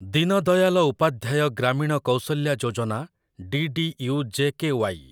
Deen Dayal Upadhyay Grameen Kaushalya Yojana DDU JKY